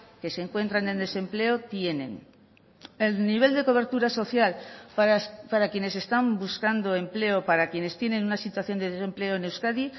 que se encuentran en desempleo tienen el nivel de cobertura social para quienes están buscando empleo para quienes tienen una situación de desempleo en euskadi